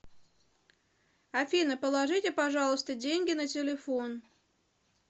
афина положите пожалуйста деньги на телефон